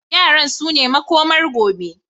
Yaran sune makomar gobe.